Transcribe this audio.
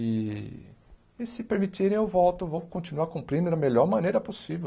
E e se permitirem, eu volto, vou continuar cumprindo da melhor maneira possível.